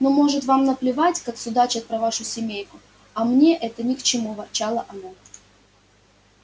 ну может вам наплевать как судачат про вашу семейку а мне это ни к чему ворчала она